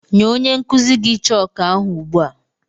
Nye onye nkuzi gị chooku ahụ ugbu a!